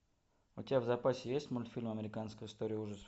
у тебя в запасе есть мультфильм американская история ужасов